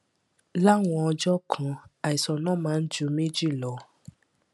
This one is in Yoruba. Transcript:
láwọn ọjọ kan àìsàn náà máa ń ju méjì lọ